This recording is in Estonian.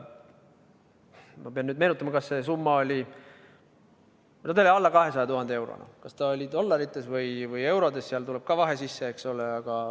Ma pean nüüd meenutama, kas see summa oli – ta oli alla 200 000 euro – dollarites või eurodes, sealt tuleb ka vahe sisse, eks ole.